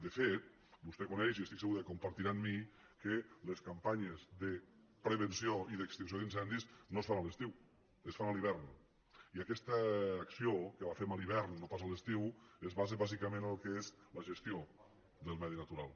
de fet vostè coneix i estic segur que ho compartirà amb mi que les campanyes de prevenció i d’extinció d’in·cendis no es fan a l’estiu es fan a l’hivern i aquesta acció que la fem a l’hivern no pas a l’estiu es basa bàsicament en el que és la gestió del medi natural